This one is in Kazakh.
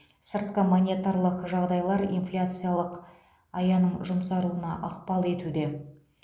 сыртқы монетарлық жағдайлар инфляциялық аяның жұмсаруына ықпал етуде